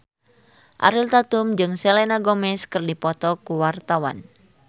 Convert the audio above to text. Ariel Tatum jeung Selena Gomez keur dipoto ku wartawan